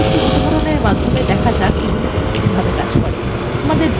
তাহলে একটি উদাহরণ মাধ্যমে দেখা যাক এগুলি কীভাবে কাজ করে